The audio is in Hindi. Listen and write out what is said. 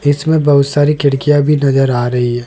इसमें बहुत सारी खिड़कियां भी नजर आ रही है।